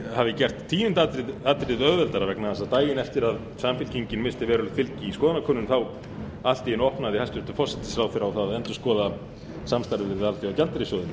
hafi gert tíunda atriðið auðveldara vegna þess að daginn eftir að samfylkingin missti verulegt fylgi í skoðanakönnun opnaði hæstvirtur forsætisráðherra allt í einu á það að endurskoða samstarfið við alþjóðagjaldeyrissjóðinn